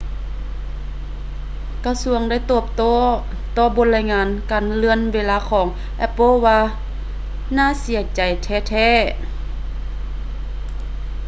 ກະຊວງໄດ້ຕອບໂຕ້ຕໍ່ບົດລາຍງານການເລື່ອນເວລາຂອງ apple ວ່າ ໜ້າເສີຍໃຈແທ້ໆ